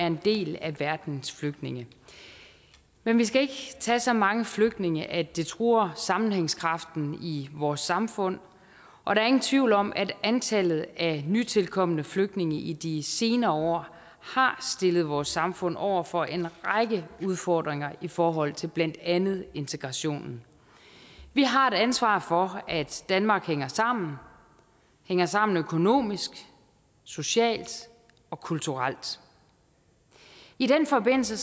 en del af verdens flygtninge men vi skal ikke tage så mange flygtninge at det truer sammenhængskraften i vores samfund og der er ingen tvivl om at antallet af nytilkomne flygtninge i de senere år har stillet vores samfund over for en række udfordringer i forhold til blandt andet integrationen vi har et ansvar for at danmark hænger sammen hænger sammen økonomisk socialt og kulturelt i den forbindelse